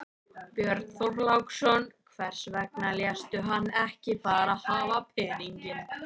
Björn Þorláksson: Hvers vegna léstu hann ekki bara hafa peninginn?